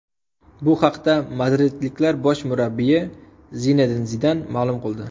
Bu haqda madridliklar bosh murabbiyi Zinedin Zidan ma’lum qildi.